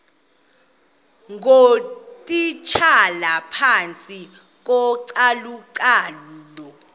ngootitshala phantsi kocalucalulo